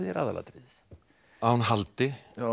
aðalatriðið að hún haldi